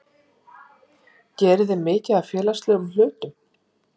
geriði mikið af félagslegum hlutum?